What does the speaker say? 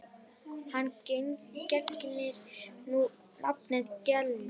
Hann gegnir nú nafninu Glenn.